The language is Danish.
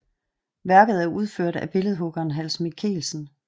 Værket er udført af billedhuggeren Hans Michelsen